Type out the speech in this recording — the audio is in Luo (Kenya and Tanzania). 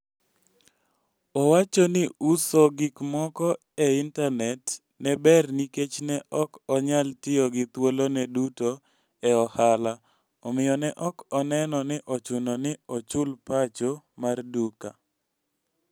Owacho ni uso gik moko e intanet ne ber nikech ne ok onyal tiyo gi thuolone duto e ohala, omiyo ne ok oneno ni ochuno ni ochul pacho mar duka.